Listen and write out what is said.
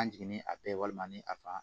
An jiginnen a bɛɛ walima ni a fan